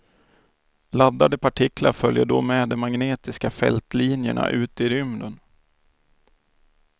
Laddade partiklar följer då med de magnetiska fältlinjerna ut i rymden.